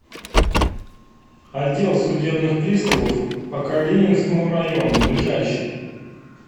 отдел судебных приставов по калининскому району ближайший